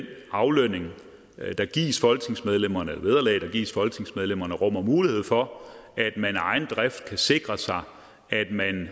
aflønning der gives folketingsmedlemmer det vederlag der gives folketingsmedlemmer rummer mulighed for at man af egen drift kan sikre sig at man